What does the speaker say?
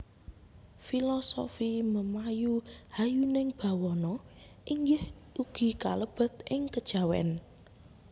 Filosofi memayu hayuning bawana inggih ugi kalebet ing kejawen